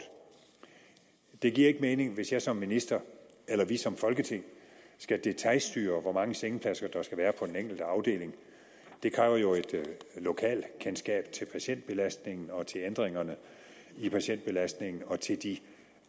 det giver ikke mening hvis jeg som minister eller vi som folketing skal detailstyre hvor mange sengepladser der skal være på den enkelte afdeling det kræver jo et lokalkendskab til patientbelastningen og til ændringerne i patientbelastningen og til de